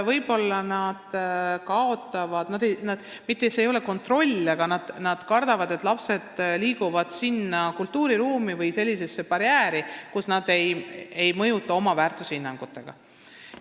Vene lapsevanemad kardavad mitte ainult kontrolli kaotada, vaid ka seda, et lapsed liiguvad uude kultuuriruumi või tekivad sellised barjäärid, mis ei lase neil enam lapsi oma väärtushinnangutega mõjutada.